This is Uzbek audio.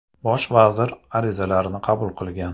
Bosh vazir arizalarni qabul qilgan.